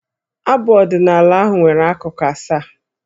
Abụ ọdịnaala ahụ nwere akụkụ asaa.